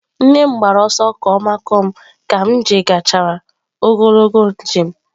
Nne m gbara ọsọ ka ọ makụọ m ka m jechara ogologo njem.